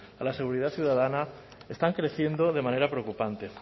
a la seguridad ciudadana están creciendo de manera preocupante